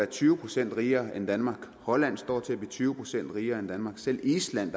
tyve procent rigere end danmark hvor holland står til at blive tyve procent rigere end danmark selv island